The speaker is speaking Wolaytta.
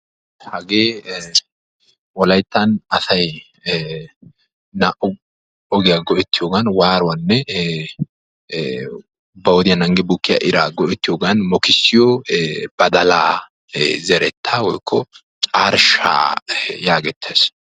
hagee wolayttan asay naa'u ogiya go'ettiyoogan waaruwanne ba wodiya naagi bukkiya iraa go'ettiyoogan mokkissiyo badalaa zerettaa woykko carshshaa yaagettees.